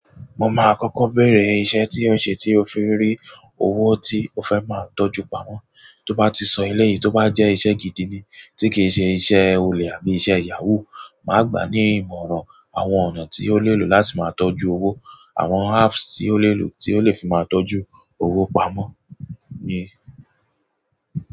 Mo máa kọ́kọ́ béèrè ìṣe tí ẹ ṣe tí o fi rí owó tí o fẹ́ máa tọ́jú pamọ́. Tó bá ti sọ eleyìí tó bá jẹ́ iṣẹ́ gidi ni tí kì í ṣe iṣẹ́ olè àbí iṣẹ́ yahoo, mà á gbà ní ìmọ̀ràn àwọn ọ̀nà tí ó lè lò láti máa tọ́jú owó, àwọn apps tí ó lè lò tí ó lè fi máa tọ́jú owó pamọ́ ní.